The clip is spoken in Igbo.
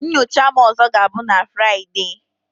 Nyocha m ọzọ ga-abụ na Fraịdee